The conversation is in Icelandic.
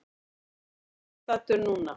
Ég er þar staddur núna.